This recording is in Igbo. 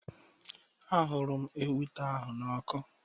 A hụrụ m ewita ahụ n'ọkụ.